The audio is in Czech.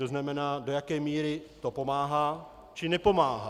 To znamená, do jaké míry to pomáhá, či nepomáhá.